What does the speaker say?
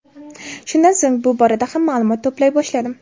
Shundan so‘ng bu borada ham ma’lumot to‘play boshladim.